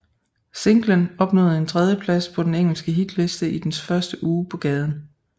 Singlen opnåede en tredjeplads på den engelske hitliste i dens første uge på gaden